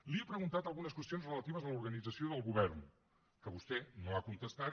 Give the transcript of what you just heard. li he preguntat algunes qüestions relatives a l’organització del govern que vostè no ha contestat